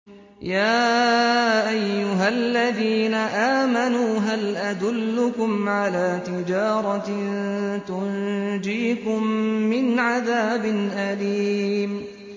يَا أَيُّهَا الَّذِينَ آمَنُوا هَلْ أَدُلُّكُمْ عَلَىٰ تِجَارَةٍ تُنجِيكُم مِّنْ عَذَابٍ أَلِيمٍ